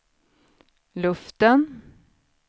luften